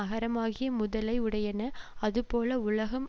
அகரமாகிய முதலை உடையன அதுபோல உலகம்